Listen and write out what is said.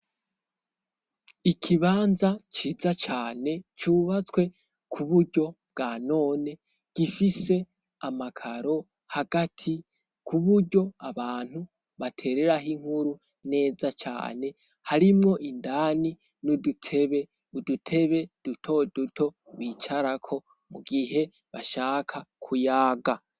Ikibanza ciza cane cubatswe kuburyo bwa none, gifise amakaro hagati kuburyo abantu batereraho inkuru neza cane. Harimwo indani n'udutebe duto duto bicarako mu gihe bashaka kuyaga.